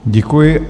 Děkuji.